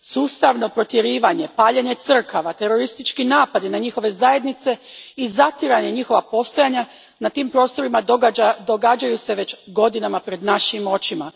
Sustavno protjerivanje, paljenje crkava, teroristički napadi na njihove zajednice i zatiranje njihova postojanja na tim prostorima događaju se već godinama pred našim očima.